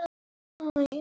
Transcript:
Verð ég orðin sátt?